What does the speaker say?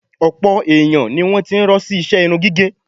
Ọ̀pọ̀ èèyàn ni wọ́n ti ń rọ́ sí iṣẹ irun gígẹ̀